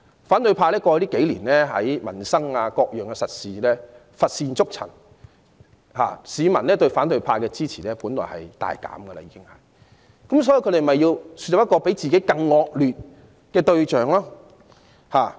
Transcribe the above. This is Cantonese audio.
過去數年，反對派在民生和各樣實事上乏善足陳，本來市民對其支持度已大減，因此他們要豎立一個比自己更差劣的對象。